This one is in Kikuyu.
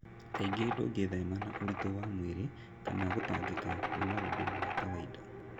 kaingĩ ndũngĩthema na ũritũ wa mwĩrĩ kana gũtangĩka nĩ maũndũ ma kawaida.